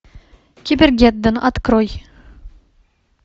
кибергеддон открой